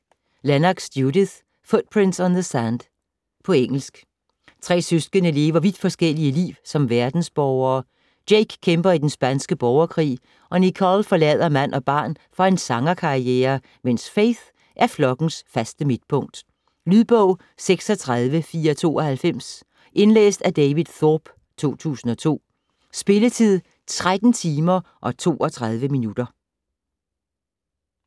Lennox, Judith: Footprints on the sand På engelsk. Tre søskende lever vidt forskellige liv som verdensborgere: Jake kæmper i den spanske borgerkrig og Nicole forlader mand og barn for en sangerkarriere, mens Faith er flokkens faste midtpunkt. Lydbog 36492 Indlæst af David Thorpe, 2002. Spilletid: 13 timer, 32 minutter.